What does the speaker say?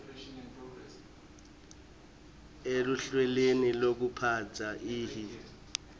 eluhlelweni lwekuphatsa ihi